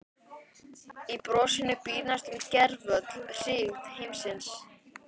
Í brosinu býr næstum gervöll hryggð heimsins.